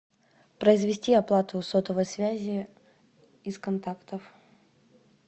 произвести оплату сотовой связи из контактов